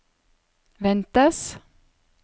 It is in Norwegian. ventes